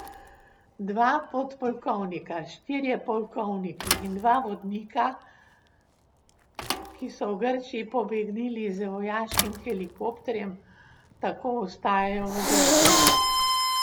Dva podpolkovnika, štirje polkovniki in dva vodnika, ki so v Grčijo pobegnili z vojaškim helikopterjem, tako ostajajo v Grčiji.